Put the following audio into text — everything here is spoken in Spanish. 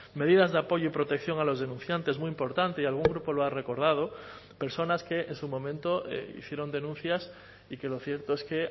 medidas de apoyo y protección a los denunciantes muy importante y algún grupo lo ha recordado personas que en su momento hicieron denuncias y que lo cierto es que